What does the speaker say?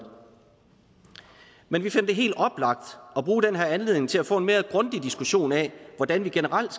men vi finder det helt oplagt at bruge den her anledning til at få en mere grundig diskussion af hvordan vi generelt